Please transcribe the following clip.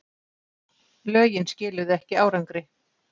Lögin skiluðu ekki árangri